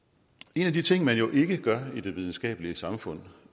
en af de ting man jo ikke gør i det videnskabelige samfund